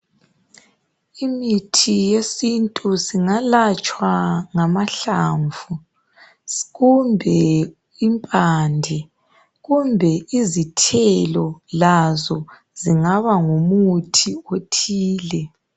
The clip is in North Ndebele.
Imithi yesintu singelatshwa ngamahlamvu kumbe izithelo lazo zingaba ngumuthi othile.